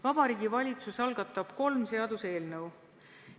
Vabariigi Valitsus algatab kolm seaduseelnõu.